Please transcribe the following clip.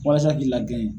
Walasa k'i lagɛn